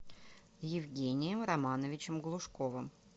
евгением романовичем глушковым